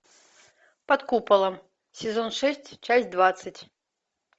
под куполом сезон шесть часть двадцать